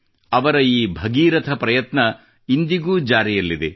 ಅವರ ಈ ಭಗೀರಥ ಪ್ರಯತ್ನ ಇಂದಿಗೂ ಜಾರಿಯಲ್ಲಿದೆ